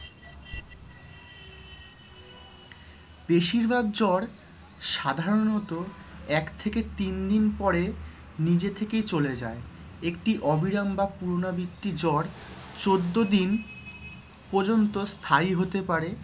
বেশিরভাগ জ্বর সাধারণত এক থেকে তিন দিন পরে নিজে থেকেই চলে যায়। একটি অবিরাম বা পুনরাবৃত্ত জ্বর চোদ্দ দিন পর্যন্ত স্থায়ী হতে পারে